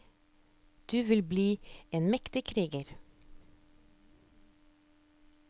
Du vil bli en mektig kriger.